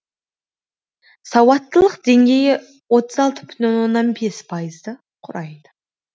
сауаттылық деңгейі отыз алты бүтін оннан бес пайызды құрайды